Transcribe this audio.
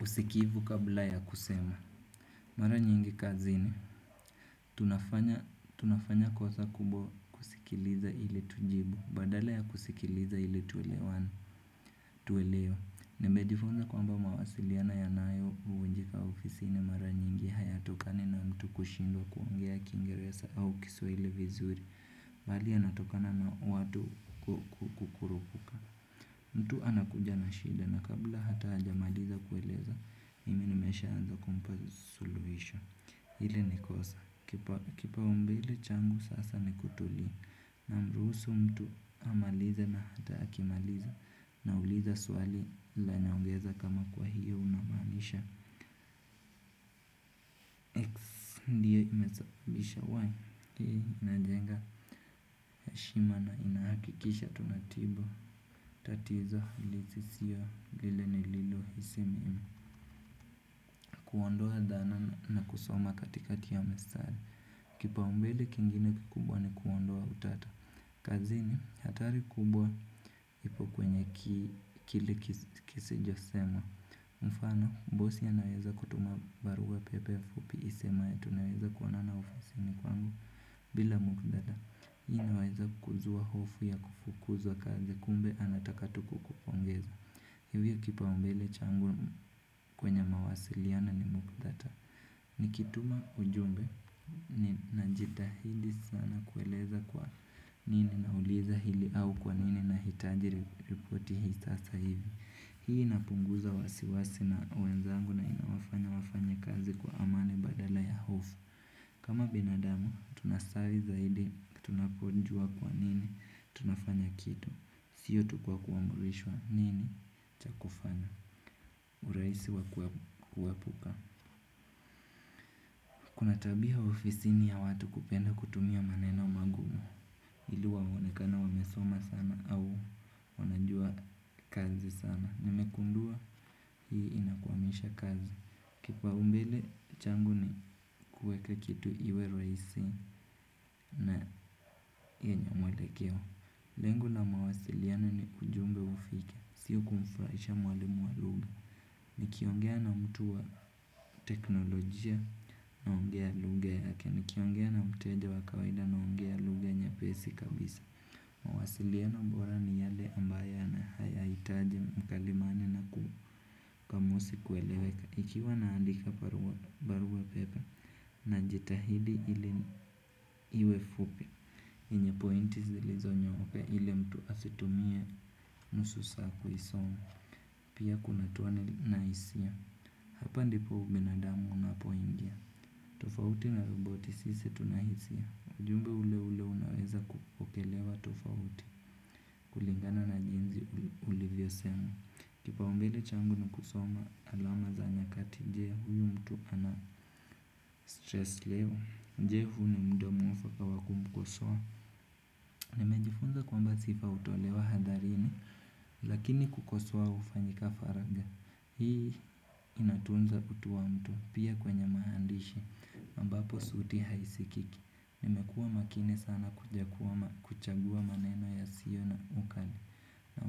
Usikivu kabla ya kusema. Mara nyingi kazini tunafa tunafanya kosa kubwa kusikiliza ili tujibu. Badala ya kusikiliza ili tuelewe. Nimejifunza kwamba mawasiliano yanayovunjika ofisini mara nyingi hayatokani na mtu kushindwa kuongea kiingeresa au kiswahili vizuri. Bali yanatokana na watu kukurupuka. Mtu anakuja na shida na kabla hata hajamaliza kueleza mimi nimeshaanza kumpa suluhisho hili ni kosa. Kipaumbele changu sasa ni namruhusu mtu amalize na hata akimaliza na uliza swali ila naongeza kama kwa hio unamaanisha. Ndiyo imesabisha Wai, hii najenga heshima na inahakikisha tunatibu. Tatizo, lisisiwa, lile nililohisi mimi. Kuondoa dhana na kusoma katikati ya masaa. Kipa umbele kingine kikubwa ni kuondoa utata. Kazini, hatari kubwa ipo kwenye kile kisejo sema. Mfana, bosi anaweza kutuma barua pepe fupi isemayo tunaweza kuonana ofisini kwangu. Bila muktadha, hii inaweza kuzua hofu ya kufukuzwa kazi kumbe anataka tu kukupongeza. Hivyo kipaumbele changu kwenye mawasiliano ni muktadha. Nikituma ujumbe najitahidi sana kueleza kwa nini nauliza hili au kwa nini nahitaji reporti hii sasa hivi. Hii inapunguza wasiwasi na wenzangu na inawafanya wafanya kazi kwa amani badala ya hofu. Kama binadamu, tunasali zaidi, tunapojua kwa nini, tunafanya kitu. Sio tu kwa kuamrishwa nini, cha kufanya urahisi wa kuepuka. Kuna tabia ofisini ya watu kupenda kutumia maneno magumu ili waonekane wamesoma sana au wanajua kazi sana. Nimegundua hii inakwamisha kazi. Kipaumbele changu ni kuweka kitu iwe rahisi na yenye mwelekeo. Lengo la mawasiliano ni ujumbe ufike. Sio kumfurahisha mwalimu wa lugha. Nikiongea na mtu wa teknolojia naongea lugha yake. Nikiongea na mteja wa kawaida naongea lugha nyepesi kabisa mawasiliano bora ni yale ambayo yana hayahitaji mkalimani na kamusi kueleweka ikiwa naandika barua pepe najitahidi ili iwe fupi. Yenye pointi zilizonyooka ili mtu asitumie nusu saa kuisoma. Pia kunatuwa na isia. Hapa ndipo ubinadamu unapoingia. Tofauti na roboti sisi tuna hisia. Ujumbe ule ule unaweza kupokelewa tofauti kulingana na jinsi ulivyo sema. Kipa umbele changu na kusoma alama za nyakati. Je huyu mtu ana stress leo. Jehu huu ni muda mwafaka wa kumkosoa. Nimejifunza kwamba sifa hutolewa hadharini. Lakini kukoswa hufanyika faraga. Hii inatunza kutuwa mtu pia kwenye maandishi ambapo sauti haisikiki nimekuwa makini sana kuchagua maneno yasiyo na ukali.